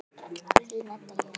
Þín Edda Júlía.